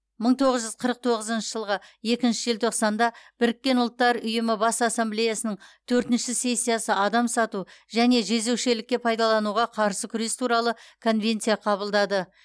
мың тоғыз жүз қырық тоғызыншы жылғы екінші желтоқсанда біріккен ұлттар ұйымының бас ассамблеясының төртінші сессиясы адам сату және жезөкшелікке пайдалануға қарсы күрес туралы конвенция қабылдады